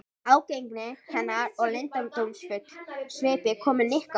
Ágengni hennar og leyndardómsfull svipbrigði komu Nikka á óvart.